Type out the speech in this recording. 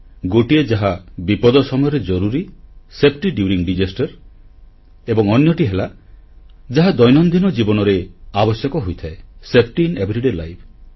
ଗୋଟିଏ ଯାହା ବିପଦ ସମୟରେ ଜରୁରୀ ସେଫଟି ଡ୍ୟୁରିଂ ଡିସାଷ୍ଟର ଏବଂ ଅନ୍ୟଟି ହେଲା ଯାହା ଦୈନନ୍ଦିନ ଜୀବନରେ ଆବଶ୍ୟକ ହୋଇଥାଏ ସେଫଟି ଆଇଏନ ଏଭରିଡେ ଲାଇଫ୍